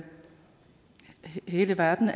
hele verden